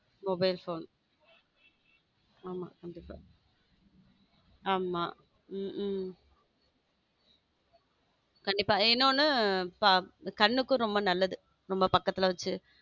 mobile phone ஆமா ஆமா கண்டிப்பாஆமா உம் கண்டிப்பா இன்னொன்னு கண்ணுக்கும் ரொம்ப நல்லது ரொம்ப பக்கத்துல வச்சு.